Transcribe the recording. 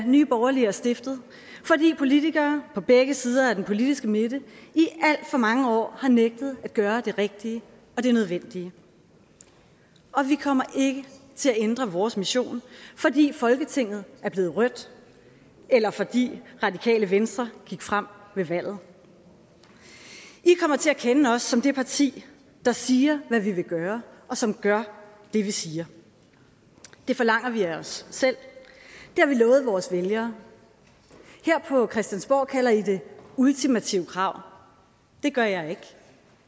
nye borgerlige er stiftet fordi politikere på begge sider af den politiske midte i alt for mange år har nægtet at gøre det rigtige og det nødvendige og vi kommer ikke til at ændre vores mission fordi folketinget er blevet rødt eller fordi radikale venstre gik frem ved valget i kommer til at kende os som det parti der siger hvad vi vil gøre og som gør det vi siger det forlanger vi af os selv det har vi lovet vores vælgere her på christiansborg kalder i det ultimative krav det gør jeg ikke